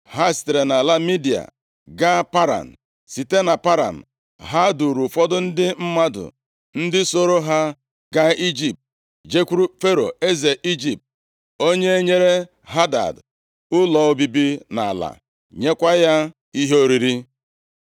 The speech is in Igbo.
Ha sitere nʼala Midia gaa Paran. Site na Paran, ha duuru ụfọdụ ndị mmadụ, ndị sooro ha gaa Ijipt, jekwuru Fero eze Ijipt, onye nyere Hadad ụlọ obibi na ala, nyekwa ya ihe oriri.